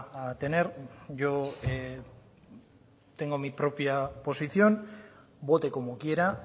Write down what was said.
a tener yo tengo mi propia posición vote como quiera